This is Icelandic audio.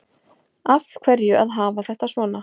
Af hverju að hafa þetta svona